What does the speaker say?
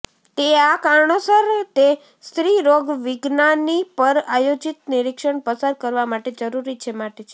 તે આ કારણોસર તે સ્ત્રીરોગવિજ્ઞાની પર આયોજિત નિરીક્ષણ પસાર કરવા માટે જરૂરી છે માટે છે